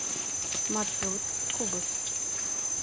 маршрут кубус